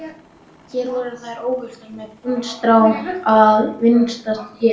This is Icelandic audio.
Hér voru þær óhultar með puntstráin að vingsast yfir sér.